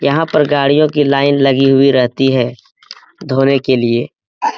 यहाँ पर गाड़ियों की लाइन लगी हुई रहती है धोने के लिए --